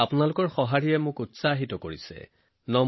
আপোনালোকৰ মতামতত মই অতিশয় উৎসাহিত হৈছো